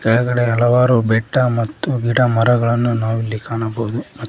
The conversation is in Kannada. ಕೆಳಗಡೆ ಹಲವಾರು ಬೆಟ್ಟ ಮತ್ತು ಗಿಡ ಮರಗಳನ್ನು ನಾವು ಇಲ್ಲಿ ಕಾಣಬಹುದು ಮ--